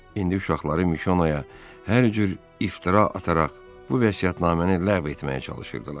İndi uşaqları Mişonaya hər cür iftira ataraq bu vəsiyyətnaməni ləğv etməyə çalışırdılar.